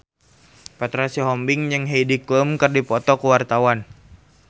Petra Sihombing jeung Heidi Klum keur dipoto ku wartawan